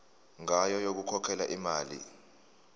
ngayo yokukhokhela imali